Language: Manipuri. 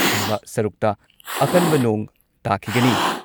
ꯊꯪꯕ ꯁꯔꯨꯛꯇ ꯑꯀꯟꯕ ꯅꯣꯡ ꯇꯥꯈꯤꯒꯅꯤ ꯫